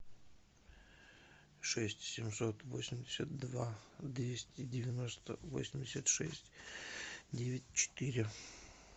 шесть семьсот восемьдесят два двести девяносто восемьдесят шесть девять четыре